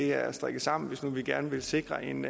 er strikket sammen hvis nu vi gerne vil sikre en